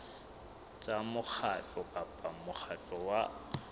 tsa mokgatlo kapa mokgatlo wa